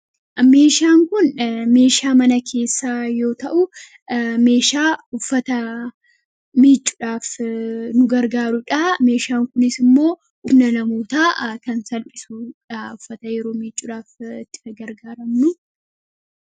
Meeshaan kun meeshaa mana keessaa yoo ta'u, meeshaa uffata miicuudhaaf nu gargaaru dhaa. Meeshaan kunis immoo humna namootaa kan salphisuu dhaa uffata yeroo miicuudhaaf itti gargaaramnuu.